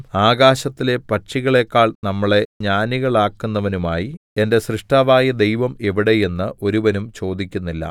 ആകാശത്തിലെ പക്ഷികളേക്കാൾ നമ്മളെ ജ്ഞാനികളാക്കുന്നവനുമായി എന്റെ സ്രഷ്ടാവായ ദൈവം എവിടെ എന്ന് ഒരുവനും ചോദിക്കുന്നില്ല